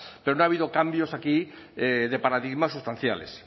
pero no ha habido cambios aquí de paradigmas sustanciales